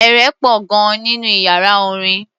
Eré pọ̀ gan-an nínú iyàrá orin.